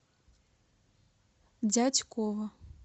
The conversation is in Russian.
дятьково